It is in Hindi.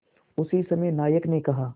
उसी समय नायक ने कहा